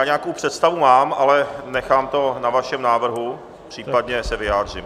Já nějakou představu mám, ale nechám to na vašem návrhu, případně se vyjádřím.